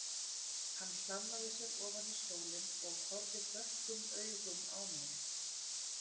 Hann hlammaði sér ofan í stólinn og horfði dökkum augum á mig.